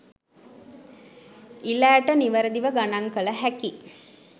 ඉළ ඇට නිවැරදිව ගණන් කළ හැකි